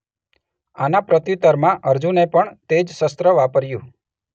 આના પ્રત્યુતરમાં અર્જુને પણ તે જ શસ્ત્ર વાપર્યું.